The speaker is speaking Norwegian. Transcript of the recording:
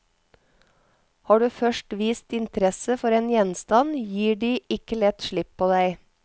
Har du først vist interesse for en gjenstand, gir de ikke lett slipp på deg.